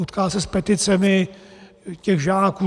Utká se s peticemi těch žáků.